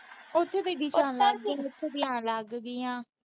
ਉਥੇ ਲੱਗ ਗਈਆਂ।